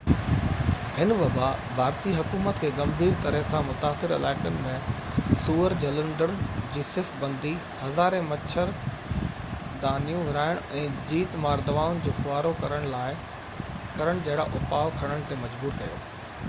هن وبا ڀارتي حڪومت کي گنڀير طرح سان متاثر علائقن ۾ سوئر جهلندڙن جي صف بندي هزارين مڇر دانيون ورهائڻ ۽ جيت مار دوائن جو ڦوهارو ڪرڻ جهڙا اُپاءُ کڻڻ تي مجبور ڪيو